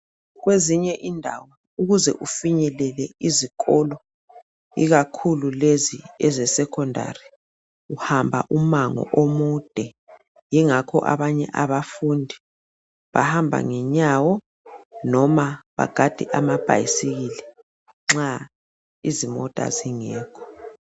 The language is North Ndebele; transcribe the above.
Kwezinye indawo ukuze ufinyelele izikolo ikakhulu lezi ezesekhondari, uhamba umango omude. Yingakho abanye abafundi bahamba ngenyawo noma bagade amabhyisikili nxa izimota zingekho.